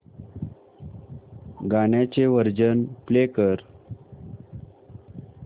गाण्याचे version play कर